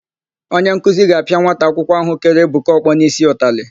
Onyenkuzi ga-apịa nwa akwụkwọ áhụ̀ kere Ebuka ọkpọ n'ísí ụtalị.